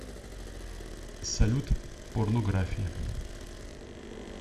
салют порнография